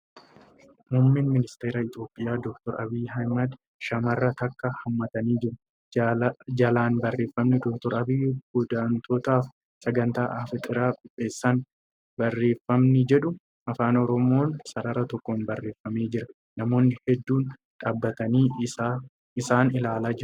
Muummeen ministara Itiyoophiyaa Dr. Abiyyi Ahmad shamarra takka hammatanii jiru. Jalaan barreeffamni ' Dooktar Abiyyi Godaantootaaf Sagantaa Afxiiraa qopheessan. ' barreeffamni jedhu Afaan Oromoon sarara tokkoon barreeffamee jira. Namoonni hedduun dhaabbatanii isaan ilaalaa jiru.